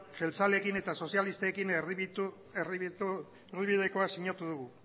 jeltzaleekin eta sozialistekin erdibidekoa sinatu dugu